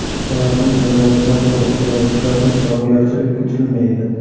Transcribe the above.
Samarqand viloyatida havo o‘zgarib turadi, yog‘ingarchilik kutilmaydi.